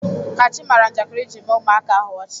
Kachi mara njakịrị iji mee ụmụaka ahụ ọchị.